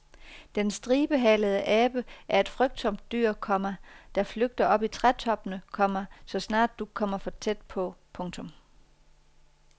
Den stribehalede abe er et frygtsomt dyr, komma der flygter op i trætoppene, komma så snart du kommer for tæt på. punktum